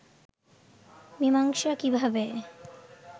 মীমাংসা কিভাবে